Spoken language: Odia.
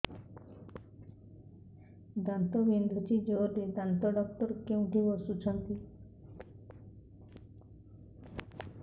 ଦାନ୍ତ ବିନ୍ଧୁଛି ଜୋରରେ ଦାନ୍ତ ଡକ୍ଟର କୋଉଠି ବସୁଛନ୍ତି